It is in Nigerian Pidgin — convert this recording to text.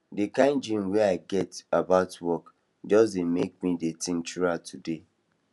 the kind dream wey i get about work just dey make me dey think throughout today